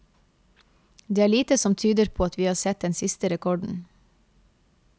Det er lite som tyder på at vi har sett den siste rekorden.